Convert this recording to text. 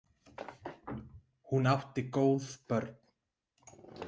Hún átti góð börn.